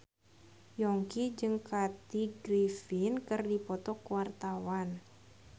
Yongki jeung Kathy Griffin keur dipoto ku wartawan